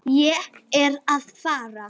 Ég er að fara.